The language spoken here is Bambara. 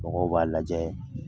Mɔgɔw b'a lajɛ.